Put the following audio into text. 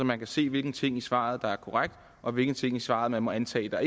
man kan se hvilke ting i svaret der er korrekte og hvilke ting i svaret man må antage ikke er